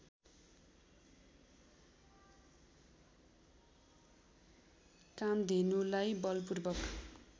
कामधेनुलाई बलपूर्वक